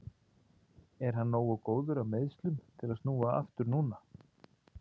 En er hann nógu góður af meiðslunum til að snúa aftur núna?